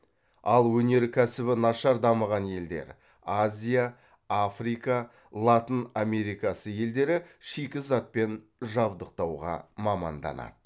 ал өнеркәсібі нашар дамыған елдер шикізатпен жабдықтауға маманданады